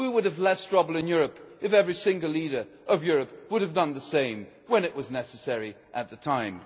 We would have less trouble in Europe if every single leader of Europe had done the same when it was necessary at the time.